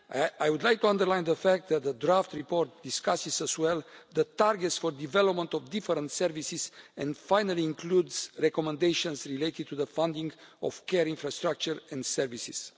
I would like to underline the fact that the draft report discusses as well the targets for development of different services, and finally includes recommendations related to the funding of care infrastructure and services.